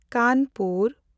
Kanpur